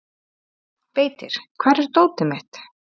Beitir, hvar er dótið mitt?